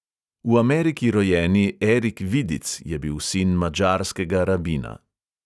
V ameriki rojeni erik vidic je bil sin madžarskega rabina.